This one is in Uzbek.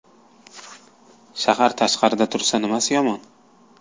Shahar tashqarida tursa nimasi yomon?